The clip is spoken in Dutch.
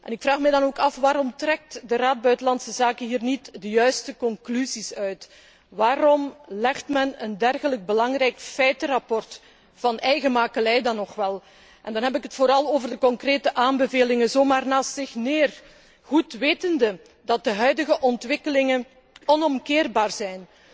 Ik vraag mij dan ook af, waarom de Raad Buitenlandse Zaken hier niet de juiste conclusies uit trekt? Waarom legt men een dergelijk belangrijk feitenrapport, van eigen makelij nog wel, en dan heb ik het vooral over de concrete aanbevelingen zo maar naast zich neer goed wetende dat de huidige ontwikkelingen onomkeerbaar zijn,